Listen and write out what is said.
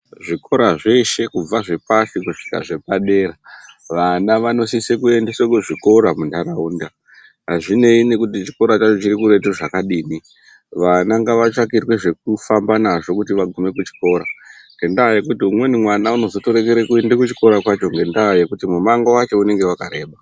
Zvikora zveshe zvepashi nezvepadera vana vanosisa kuendeswa kuzvikora muntaraunda, Azvina ndaa kuti zvikora zvakhona zviri kure zvakadini. Vana ngavatsvakirwe zvekufamba nazvo kuti vagume kuchikora ngendaa yekuti umweni mwana unotozoreke kuenda kuchikoro kwacho ngendaa yekuti mumango wacho unenge wakareba.